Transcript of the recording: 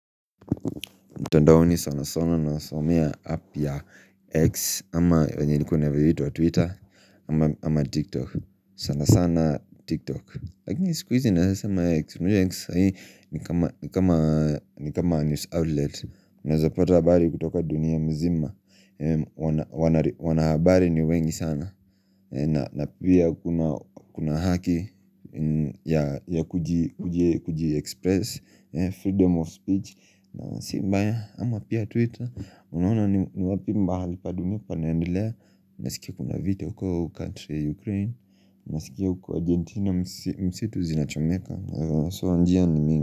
Mtandaoni sana sana na saomeavapp ya X ama venye ilikuwa inavyoitwa Twitter ama TikTok sana sana TikTok Lakini siku hizi naweza sema X unajua X saa hii ni kama ni kama news outlet Unawezapata habari kutoka dunia mzima wanahabari ni wengi sana na pia kuna haki ya kuji express Freedom of speech na si mbaya ama pia Twitter Unaona ni wapi mahali pa dunia naendelea Nasikia kuna vita uko kantri ya Ukraine Nasikia uko Argentina msitu zinachomeka So njia ni mingi.